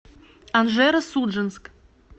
анжеро судженск